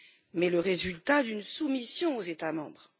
mais le résultat d'une soumission aux États membres.